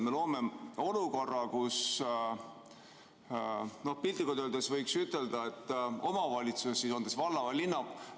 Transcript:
Me loome olukorra, kus piltlikult öeldes omavalitsus, on see siis on valla‑ või linnavalitsus ...